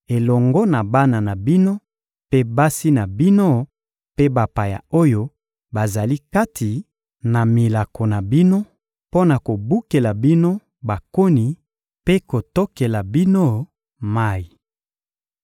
elongo na bana na bino mpe basi na bino mpe bapaya oyo bazali kati na milako na bino mpo na kobukela bino bakoni mpe kotokelaka bino mayi.